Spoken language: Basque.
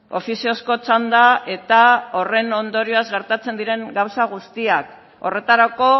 ofiziozko txanda eta horren ondorioz gertatzen diren gauza guztiak horretarako